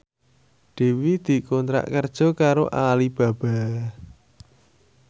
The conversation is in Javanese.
Dewi dikontrak kerja karo Alibaba